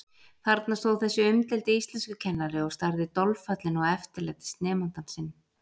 Þarna stóð þessi umdeildi íslenskukennari og starði dolfallinn á eftirlætisnemandann sinn.